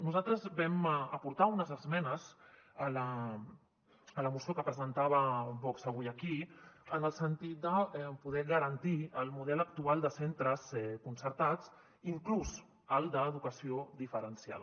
nosaltres vam aportar unes esmenes a la moció que presentava vox avui aquí en el sentit de poder garantir el model actual de centres concertats inclús el d’edu·cació diferenciada